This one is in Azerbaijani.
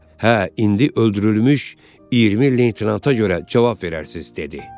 Hə, indi öldürülmüş 20 leytenanta görə cavab verərsiz, dedi.